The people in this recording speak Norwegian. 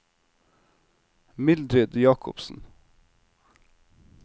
Mildrid Jacobsen